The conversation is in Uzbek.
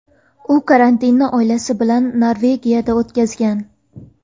U karantinni oilasi bilan Norvegiyada o‘tkazgan .